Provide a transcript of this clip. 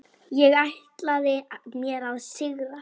Ég ætlaði mér að sigra.